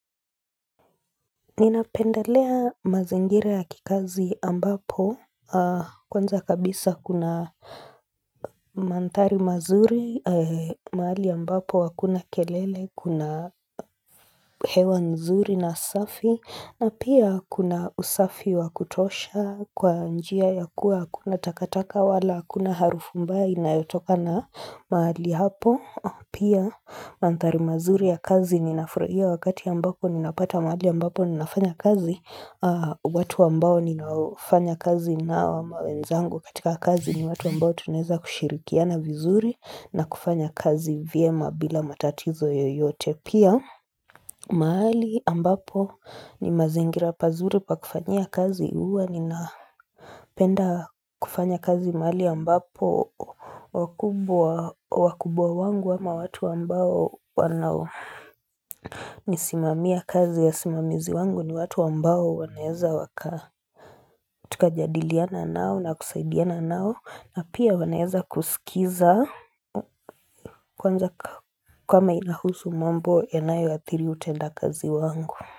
Ninapenda lea mazingira ya kikazi ambapo kwanza kabisa kuna Mantari mazuri maali ambapo wakuna kelele kuna hewa nzuri na safi na pia kuna usafi wa kutosha kwa njia ya kuwa kuna takataka wala kuna harufu mbae inayotoka na mahali hapo Pia mantari mazuri ya kazi ninafurhia wakati ambapo ninapata mahali ambapo ninafanya kazi watu ambao ninafanya kazi na mawenzangu katika kazi ni watu ambao tunaeza kushirikia na vizuri na kufanya kazi vyema bila matatizo yoyote Pia mahali ambapo ni mazingira pazuri pakufanya kazi uwa ninapenda kufanya kazi mali ambapo wakubwa wangu ama watu wambao wanao nisimamia kazi ya simamizi wangu ni watu wambao wanaeza waka tukajadiliana nao na kusaidiana nao na pia wanaeza kusikiza kama inahusu mambo ya nayo ya thiri utenda kazi wangu.